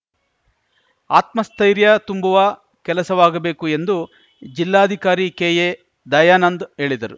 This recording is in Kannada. ಆತ್ಮಸ್ಥೈರ್ಯ ತುಂಬುವ ಕೆಲಸವಾಗಬೇಕು ಎಂದು ಜಿಲ್ಲಾಧಿಕಾರಿ ಕೆಎ ದಯಾನಂದ್‌ ಹೇಳಿದರು